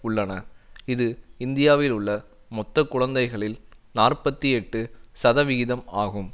உள்ளன இது இந்தியாவில் உள்ள மொத்த குழந்தைகளில் நாற்பத்தி எட்டு சதவிகிதம் ஆகும்